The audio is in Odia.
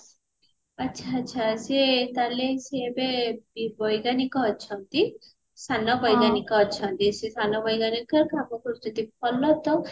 ଆଛା ଆଛା ତାହେଲ ସିଏ ଏବେ ବି ବୈଜ୍ଞାନିକ ଅଛନ୍ତି ସାନ ବୈଜ୍ଞାନିକ ଅଛନ୍ତି ସେ ସାନ ବୈଜ୍ଞାନିକ କାମ କରୁଛନ୍ତି ଭଲ ତ